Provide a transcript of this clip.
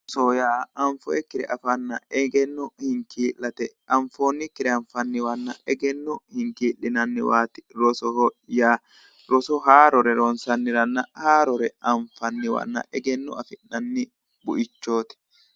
Roso:-roso yaa anfoyikkire afanna egenno hinkii'late anfoonnikire anfanniwanna egenno hinkii'linanniwaati rosoho yaa roso haarore ronssanniwanna haarore anfanniwa egeno afi'nanni buichootti